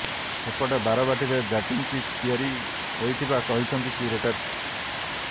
ସେପଟେ ବାରବାଟୀରେ batting pitch ତିଆରି ହୋଇଥିବା କହିଛନ୍ତି କ୍ୟୁରେଟର୍